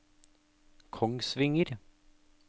Kongsvinger